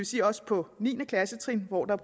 sige også på niende klassetrin hvor der